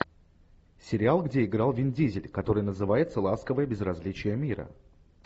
сериал где играл вин дизель который называется ласковое безразличие мира